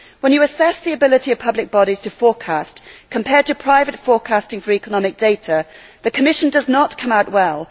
When you assess the ability of public bodies to forecast, compared to private forecasting for economic data, the Commission does not come out well.